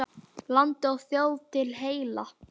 Landi og þjóð til heilla!